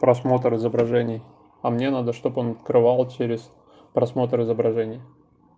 просмотр изображений а мне надо чтобы он открывал через просмотр изображений